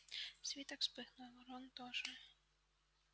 свиток вспыхнул рон тоже